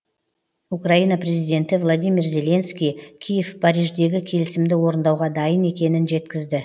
украина президенті владимир зеленский киев париждегі келісімді орындауға дайын екенін жеткізді